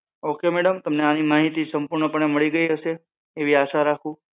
okay madam તમને આની માહિતી સંપૂર્ણ મળી ગઈ હશે એવી આશા રાખું